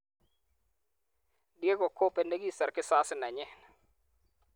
Diego-kobe ne kisor kizazi nenyi.